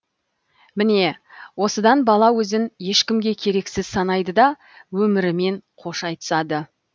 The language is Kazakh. міне осыдан бала өзін ешкімге керексіз санайды да өмірімен қош айтысады